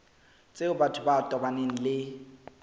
tseo batho ba tobaneng le